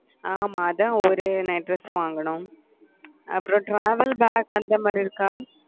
ஆமா அதான் ஒரு night dress வாங்கணும் அப்புறம் travel அந்த மாதிரி இருக்கா